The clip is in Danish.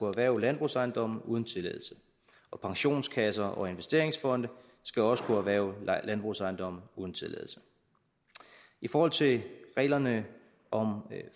erhverve landbrugsejendomme uden tilladelse og pensionskasser og investeringsfonde skal også kunne erhverve landbrugsejendomme uden tilladelse i forhold til reglerne om